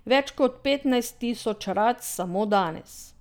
Več kot petnajst tisoč rac samo danes.